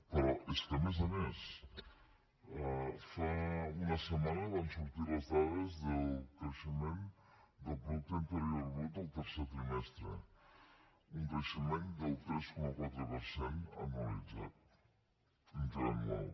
però és que a més a més fa una setmana van sortir les dades del creixement del producte interior brut del tercer trimestre un creixement del tres coma quatre per cent interanual